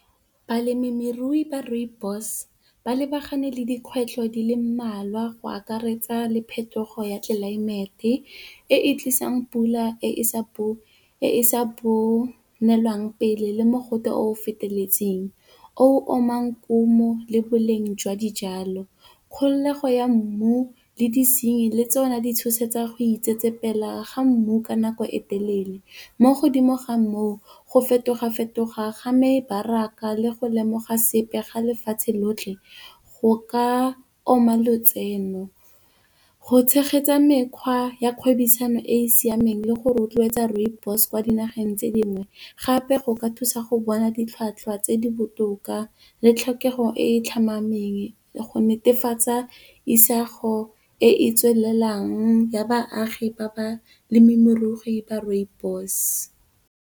Balemirui ba Rooibos ba lebagane le dikgwetlho di le mmalwa go akaretsa le phetogo ya tlelaemete e e tlisang pula e sa bonelwang pele le mogote o o feteletseng o omang kumu le boleng jwa dijalo. Kgolego ya mmu le disenyi le tsone di tshosetsa go itsetsepela ga mmu ka nako e telele. Mo godimo ga moo go fetoga- fetoga ga mebaraka le go lemoga sepe ga lefatshe lotlhe go ka oma lotseno. Go tshegetsa mekgwa ya kgwebisano e e siameng le go rotloetsa Rooibos kwa dinageng tse dingwe gape, go ka thusa go bona ditlhwatlhwa tse di botoka le tlhokego e e tlhomameng go netefatsa isago e e tswelelang ya baagi ba balemirui ba Rooibos.